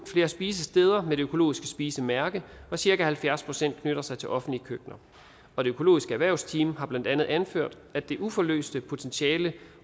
flere spisesteder med det økologiske spisemærke og cirka halvfjerds procent knytter sig til offentlige køkkener og det økologiske erhvervsteam har blandt andet anført at det uforløste potentiale